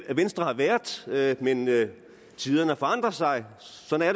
at venstre har været været men tiderne forandrer sig sådan